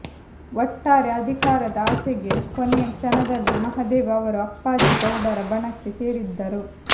ಒಟ್ಟಾರೆ ಅಧಿಕಾರದ ಆಸೆಗೆ ಕೊನೆಯ ಕ್ಷಣದಲ್ಲಿ ಮಹದೇವ್ ಅವರು ಅಪ್ಪಾಜಿಗೌಡರ ಬಣಕ್ಕೆ ಸೇರಿದ್ದರು